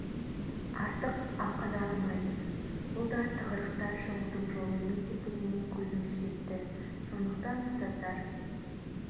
артық ақы да алмайтын бұл да тығырықтан шығудың жолы емес екеніне көзіміз жетті сондықтан ұстаздар